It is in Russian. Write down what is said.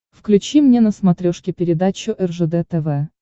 включи мне на смотрешке передачу ржд тв